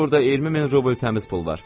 Burda 20000 rubl təmiz pul var.